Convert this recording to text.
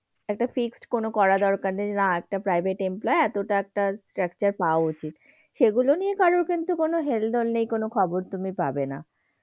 একটা fixed কোন করা দরকার নেই, না একটা private employee এতটা একটা structure পাওয়া উচিত। সেগুলো নিয়ে কারো কিন্তু কোনো হেলদোল নেই, কোনো খবর তুমি পাবে না।